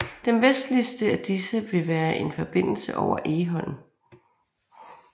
Den vestligste af disse vil være en forbindelse over Egholm